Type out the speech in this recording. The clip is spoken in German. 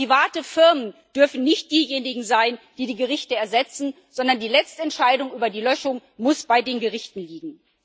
Aber private Firmen dürfen nicht diejenigen sein, die die Gerichte ersetzen, sondern die letzte Entscheidung über die Löschung muss bei den Gerichten liegen.